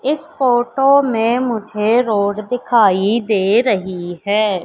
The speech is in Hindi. इस फोटो में मुझे रोड दिखाई दे रही है।